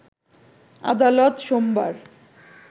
আদালত সোমবার